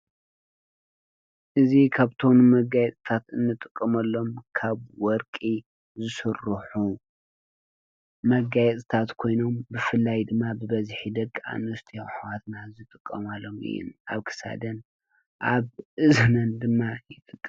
እዙይ ካብቶም መጋየፅታት እንጥቀመሎም ካብ ወርቂ ዝስርሑ መጋየፅታት ኮይኖም ብፍላይ ድማ ብበዝሒ ደቂ ኣንስትዮ ኣሕዋትና ዝጥቀማሎም እዩ። ኣብ ክሳደን፣ ኣብ እዝነን ድማ ይጥቀማሉ።